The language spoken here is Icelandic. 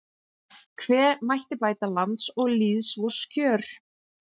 Hve mætti bæta lands og lýðs vors kjör